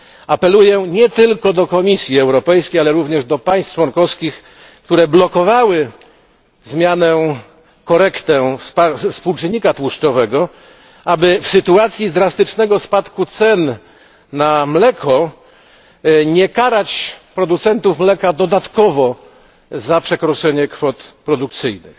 Apeluję nie tylko do Komisji Europejskiej, ale również do państw członkowskich, które blokowały zmianę, korektę współczynnika tłuszczowego, aby w sytuacji drastycznego spadku cen na mleko nie karać producentów mleka dodatkowo za przekroczenie kwot produkcyjnych.